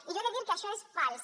i jo he de dir que això és fals